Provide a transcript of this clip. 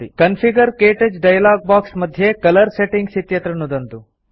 configure - क्तौच dialog box मध्ये colour settings इत्यत्र नुदन्तु